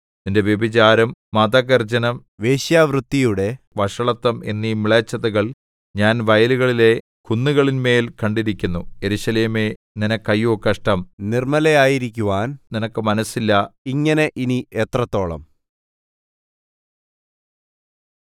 നിന്റെ വ്യഭിചാരം മദഗർജ്ജനം വേശ്യാവൃത്തിയുടെ വഷളത്തം എന്നീ മ്ലേച്ഛതകൾ ഞാൻ വയലുകളിലെ കുന്നുകളിന്മേൽ കണ്ടിരിക്കുന്നു യെരൂശലേമേ നിനക്ക് അയ്യോ കഷ്ടം നിർമ്മലയായിരിക്കുവാൻ നിനക്ക് മനസ്സില്ല ഇങ്ങനെ ഇനി എത്രത്തോളം